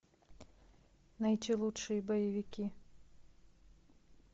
найти лучшие боевики